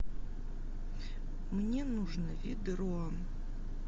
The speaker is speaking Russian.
мне нужно ведро